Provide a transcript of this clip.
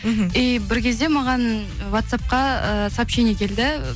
мхм и бір кезде маған ватсапқа і сообщение келді